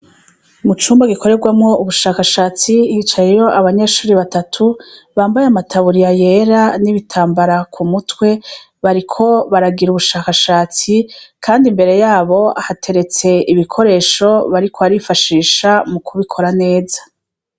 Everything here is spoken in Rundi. Mu cumba gikorerwamwo ubushakashatsi hicayiro abanyeshuri batatu bambaye amataburiya yera n'ibitambara ku mutwe bariko baragira ubushakashatsi, kandi imbere yabo ahateretse ibikoresho bariko arifashisha mu kubikora neza.